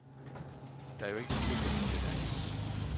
Der er ikke to patienter, der er ens.